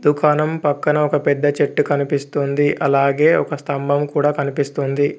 దుకాణం పక్కన ఒక పెద్ద చెట్టు కనిపిస్తుంది అలాగే ఒక స్తంభం కూడా కనిపిస్తుంది.